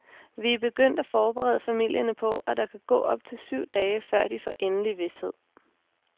Vi er begyndt at forberede familierne på, at der kan gå op til syv dage, før de får endelig vished.